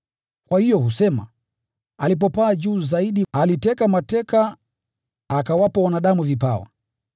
Kwa hiyo husema: “Alipopaa juu zaidi, aliteka mateka, akawapa wanadamu vipawa.”